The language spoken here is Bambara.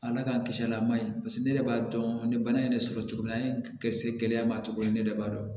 Ala k'an kisi a lama ne yɛrɛ b'a dɔn ni bana in de sɔrɔ cogo an ye kɛ se gɛlɛya ma cogo min ne yɛrɛ b'a dɔn